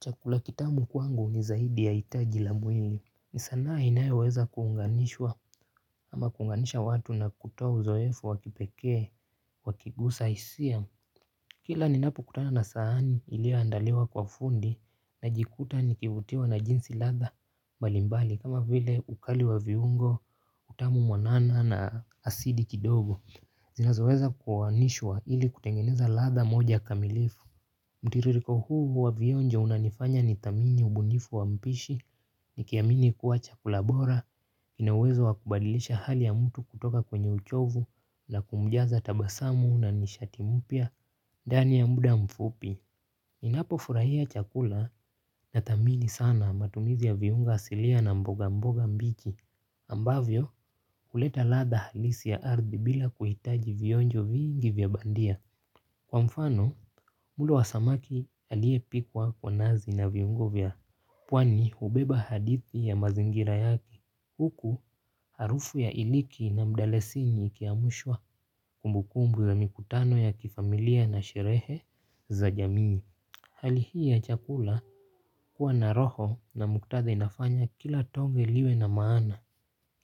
Chakula kitamu kwangu ni zaidi ya itaji la mwili ni sanaa inayoweza kuunganishwa ama kuunganisha watu na kutoa uzoefu wa kipekee wakigusa isia. Kila ninapo kutana na saani ilio andaliwa kwa fundi najikuta nikivutiwa na jinsi ladha balimbali kama vile ukali wa viungo utamu mwanana na asidi kidogo zinazoweza kuoanishwa ili kutengeneza ladha moja kamilifu. Mtiririko huu wa vionjo unanifanya nithamini ubunifu wa mpishi nikiamini kuwa chakula bora inauwezo wa kubadilisha hali ya mtu kutoka kwenye uchovu la kumjaza tabasamu na nishati mpya ndani ya mda mfupi. Ninapo furahia chakula nathamini sana matumizi ya viunga asilia na mboga mboga mbichi ambavyo huleta ladha halisi ya ardhi bila kuhitaji vionjo vingi vya bandia. Kwa mfano mlo wa samaki aliyepikwa kwa nazi na viungo vya Pwani hubeba hadithi ya mazingira yaki huku harufu ya iliki na mdalasini ikiamushwa kumbukumbu za mikutano ya kifamilia na sherehe za jamii. Hali hii ya chakula huwa na roho na muktadha inafanya kila tonge liwe na maana.